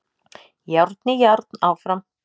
Járn í járn áfram